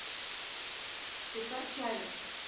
сесар чавес